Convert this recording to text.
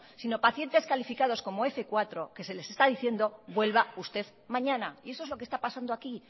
sino pacientes calificados como f cuatro que se les está diciendo vuelva usted mañana y eso es lo que está pasando aquí